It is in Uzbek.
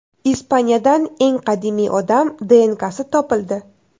Ispaniyadan eng qadimiy odam DNKsi topildi.